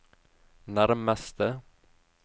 nærmeste